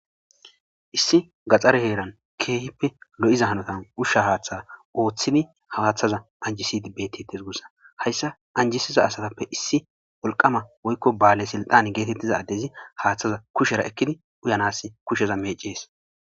Issi gaxxare heeran keehippe lo7iza hanotan ushsha haaththa ooththidi hawaaththaza anjisidi bettetes guussa hayssa anjisiza asatappe issi wolqama woykko baale silxan geetettiza addezi haaththaza kushera ekkidi uyanas kusheza meecees.